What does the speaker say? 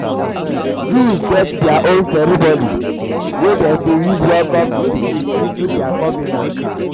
jews um get their um own ceremony wey dem de de use welcome di pikin into their convenant